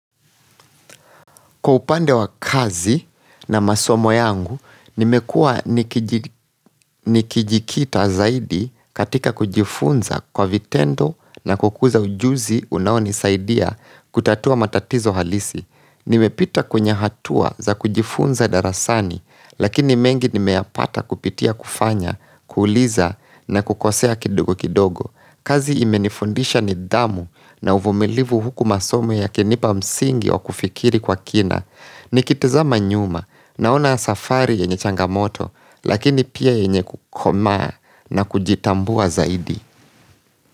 Kwa upande wa kazi na masomo yangu, nimekuwa nikijikita zaidi katika kujifunza kwa vitendo na kukuza ujuzi unaonisaidia kutatua matatizo halisi. Nimepita kwenye hatua za kujifunza darasani, lakini mengi nimeyapata kupitia kufanya, kuuliza na kukosea kidogo kidogo. Kazi imenifundisha nidhamu na uvumilivu huku masomo yakinipa msingi wa kufikiri kwa kina. Nikitazama nyuma naona safari yenye changamoto lakini pia yenye kukoma na kujitambua zaidi.